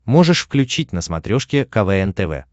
можешь включить на смотрешке квн тв